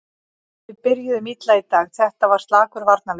Við byrjuðum illa í dag, þetta var slakur varnarleikur.